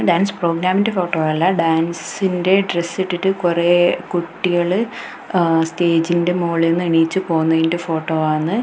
Dance പ്രോഗ്രാമിന്റെ photo അല്ല ഡാൻസിന്റെ ഡ്രസ് ഇട്ടിട്ട് കുറെ കുട്ടികൾ ആ സ്റ്റേജിന്റെ മോളീന്ന് എണീറ്റ് പോകുന്നതിന്റെ ഫോട്ടോ ആന്ന്.